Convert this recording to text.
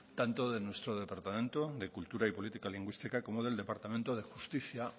tanto de nuestro departamento de cultura y política lingüística como del departamento de justicia